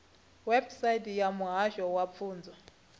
website ya muhasho wa pfunzo